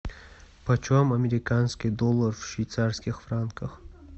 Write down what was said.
почем американский доллар в швейцарских франках